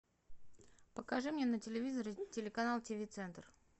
покажи мне на телевизоре телеканал тв центр